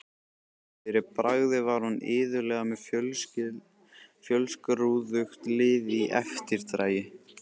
Fyrir bragðið var hún iðulega með fjölskrúðugt lið í eftirdragi.